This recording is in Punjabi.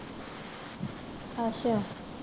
ਅੱਛਾ